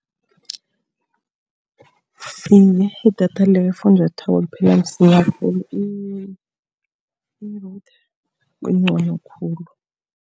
Iye, idatha likafunjathwako liphela msinya khulu. kungcono khulu.